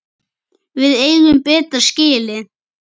Við eigum betra skilið.